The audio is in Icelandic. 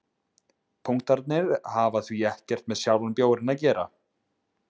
punktarnir hafa því ekkert með sjálfan bjórinn að gera